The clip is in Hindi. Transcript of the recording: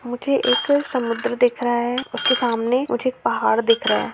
मुझे एक समुन्द्र दिख रहा हैं उसके सामने मुझे पहाड़ दिख रहा हैं।